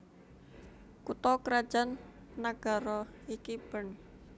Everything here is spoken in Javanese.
Kutha krajan nagara iki Bern